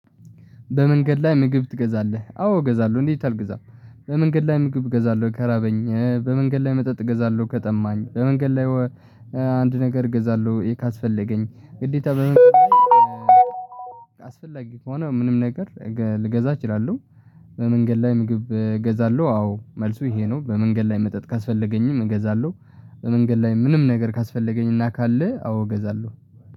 በመንገድ ላይ ምግብ ትገዛለህ አዎ እገዛለሁ እንዴት አልገዛም? በመንገድ ላይ ምግብ እገዛለሁ ከራበኝ በመንገድ ላይ መጠጥ እገዛለሁ ከጠማኝ በመንገድ ላይ አንድ ነገር እገዛለሁ ካስፈለገኝ ግዴታ በመንገድ ላይ አስፈላጊ ከሆነ ምንም ነገር ገ ልገዛ እችላለሁ። በመንገድ ላይ ምግብ እገዛለሁ አዎ መልሱ ይሄ ነው በመንገድ ላይ መጠጥ ካስፈለገኝም እገዛለሁ። በመንገድ ላይ ምንም ነገር ካስፈለገኝና ካለ አዎ እገዛለሁ